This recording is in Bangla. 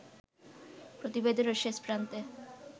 প্রতিবেদনের শেষ প্রান্তে